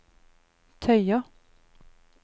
tøyer